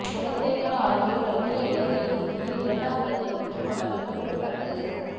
குணசேகர ஆகியோர் அகில இலங்கை ரீதியில் இரண்டாம் இடத்தை பெற்றுக் கொண்டமை குறிப்பிடத்தக்கது